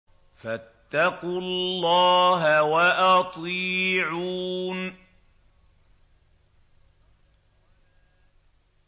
فَاتَّقُوا اللَّهَ وَأَطِيعُونِ